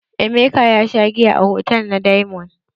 Emeka ya sha giya a hotal na diamond.